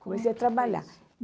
Comecei a trabalhar.